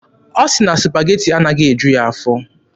Ọ sị na Supageti anaghị eju ya afọ.